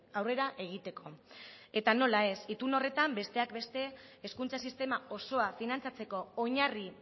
aurrera egiteko eta nola ez itun horretan besteak beste hezkuntza sistema osoa finantzatzeko oinarri